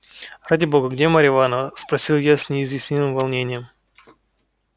ради бога где марья ивановна спросил я с неизъяснимым волнением